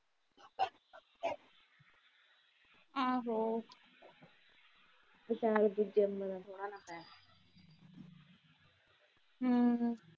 ਆਹੋ ਹਮ